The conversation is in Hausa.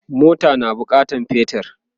mota na bukatan petir